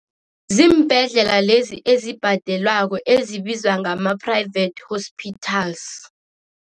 Ziimbhedlela lezi ezibhadelwako, ezibizwa ngama-private hospitals.